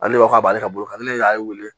Ale ko k'a b'ale ka bolo kan ne y'a wele